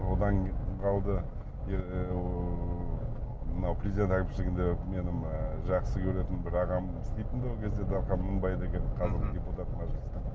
одан қалды ы мынау президент әкімшілігінде менің ы жақсы көретін бір ағам істейтін де ол кезде дархан мыңбай деген мхм қазіргі депутат мәжілістің